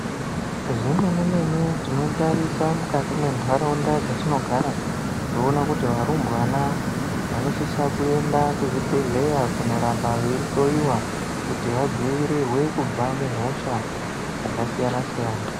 Zvemene mene tinotarisa mukati mwendaraunda dzatinogara toona kuti varumbwana vanosisa kuenda kuzvibhehleya kunoramba veihloiwa kuti vadzivirirwe kubva muhosha dzakasiyana siyana.